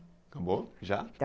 Acabou, já.